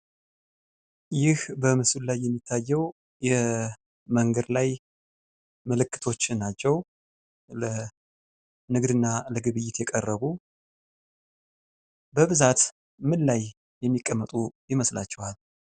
ይህ በምስሉ ላይ የሚታየው የመንገድ ላይ ምልክቶች ናቸው። ለንግድ እና ለግብይት የቀረቡ በብዛት ምን ላይ የሚቀመጡ ይመስላችኋል?